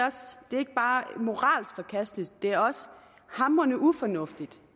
ikke bare moralsk forkasteligt det er også hamrende ufornuftigt